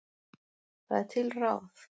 Það er til ráð.